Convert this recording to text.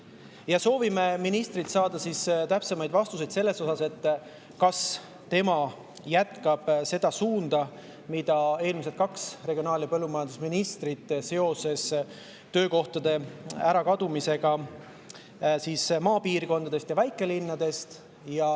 Me soovime ministrilt saada täpsemaid vastuseid selle kohta, kas ta jätkab seda suunda, mille võtsid eelmised kaks regionaal‑ ja põllumajandusministrit seoses töökohtade kadumisega maapiirkondadest ja väikelinnadest.